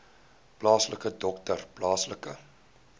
plaaslike dokter plaaslike